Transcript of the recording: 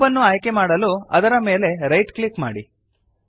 cube ಅನ್ನು ಆಯ್ಕೆಮಾಡಲು ಅದರ ಮೇಲೆ ರೈಟ್ ಕ್ಲಿಕ್ ಮಾಡಿರಿ